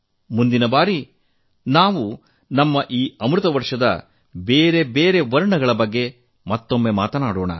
ಮುಂದಿನ ಬಾರಿ ನಾವು ನಮ್ಮ ಈ ಅಮೃತ ಪರ್ವದ ನಾನಾ ಬಣ್ಣಗಳ ಬಗ್ಗೆ ಮತ್ತೆ ಮಾತನಾಡೋಣ